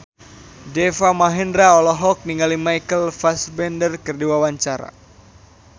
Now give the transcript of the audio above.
Deva Mahendra olohok ningali Michael Fassbender keur diwawancara